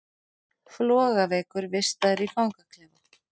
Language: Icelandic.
Flogaveikur vistaður í fangaklefa